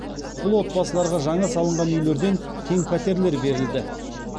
бұл отбасыларға жаңа салынған үйлерден кең пәтерлер берілді